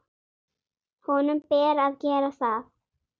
Honum ber að gera það.